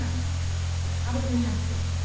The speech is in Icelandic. Með harðri hendi